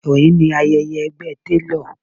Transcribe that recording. Òní ni ayẹyẹ ẹgbẹ́ télọ̀